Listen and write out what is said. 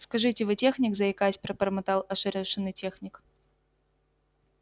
скажите вы техник заикаясь пробормотал ошарашенный техник